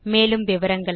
மேலும் விவரங்களுக்கு